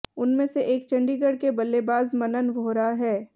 उनमें से एक चंडीगढ़ के बल्लेबाज मनन वोहरा हैं